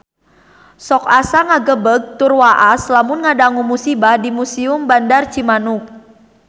Sok asa ngagebeg tur waas lamun ngadangu musibah di Museum Bandar Cimanuk